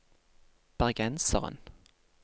bergenseren